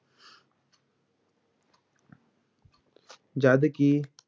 ਜਦ ਕਿ